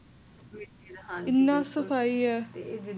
ਇੰਨੀ ਸਫ਼ਾਈ ਏ